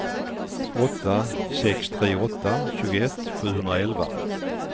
åtta sex tre åtta tjugoett sjuhundraelva